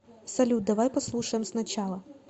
салют давай послушаем сначала